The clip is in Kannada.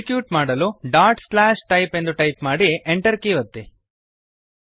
ಎಕ್ಸಿಕ್ಯೂಟ್ ಮಾಡಲು ಡಾಟ್ ಸ್ಲ್ಯಾಶ್ ಟೈಪ್ ಎಂದು ಟೈಪ್ ಮಾಡಿ Enter ಕೀಯನ್ನು ಒತ್ತಿ